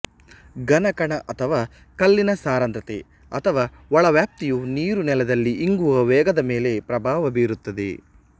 ಘನ ಕಣ ಅಥವಾ ಕಲ್ಲಿನ ಸರಂಧ್ರತೆ ಅಥವಾ ಒಳವ್ಯಾಪ್ತಿಯು ನೀರು ನೆಲದಲ್ಲಿ ಇಂಗುವ ವೇಗದ ಮೇಲೆ ಪ್ರಭಾವ ಬೀರುತ್ತದೆ